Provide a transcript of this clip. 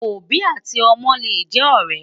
òbí àti ómó lè jé òré